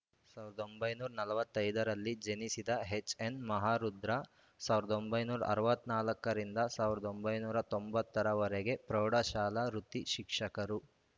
ಸಾವಿರದ ಒಂಬೈನೂರ ನಲವತ್ತೈ ದ ರಲ್ಲಿ ಜನಿಸಿದ ಎಚ್‌ಎನ್‌ ಮಹಾರುದ್ರ ಸಾವಿರದ ಒಂಬೈನೂರ ಅರವತ್ತ್ ನಾಲ್ಕ ರಿಂದ ಸಾವಿರದ ಒಂಬೈನೂರ ತೊಂಬತ್ತರ ವರೆಗೆ ಪ್ರೌಢಶಾಲಾ ವೃತ್ತಿ ಶಿಕ್ಷಕರು